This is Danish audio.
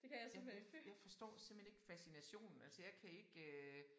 Jeg jeg jeg forstår simpelthen ikke fascinationen altså jeg kan ikke øh